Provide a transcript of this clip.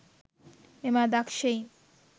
මෙම අදක්ෂයින්